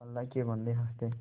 अल्लाह के बन्दे हंस दे